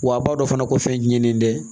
Wa a b'a dɔn fana ko fɛn ɲinini tɛ